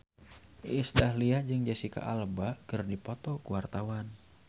Iis Dahlia jeung Jesicca Alba keur dipoto ku wartawan